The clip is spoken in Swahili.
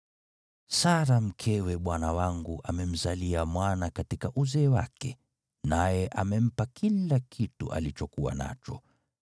Sara mkewe bwana wangu amemzalia mwana katika uzee wake, naye amempa kila kitu alichokuwa nacho.